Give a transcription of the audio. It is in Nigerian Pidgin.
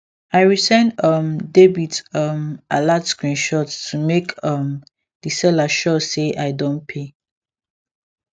i resend um debit um alert screenshot to make um the seller sure say i don pay